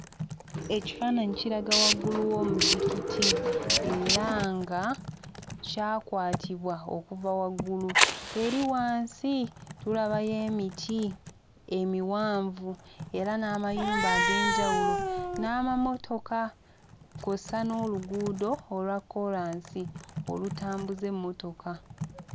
Ekifaananyi kiraga waggulu w'omuzikiti era nga kyakwatibwa okuva waggulu. Eri wansi tulabayo emiti emivanvu era n'amayumba ag'enjawulo n'amamotoka kw'ossa n'oluguudo olwa kkoolansi olutambuza emmotoka.